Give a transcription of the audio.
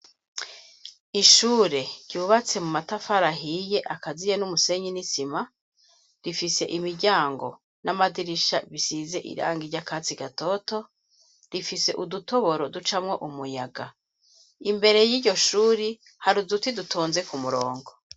Ishure ryubatse mu matafari ahiye akaziye n'umusenyi n'isima rifise imiryango n'amadirisha bisize irangi ry'akatsi gatoto rifise udutoboro ducamwo umuyaga. Imbere y'iryo shuri hari uduti dutonze ku murongo.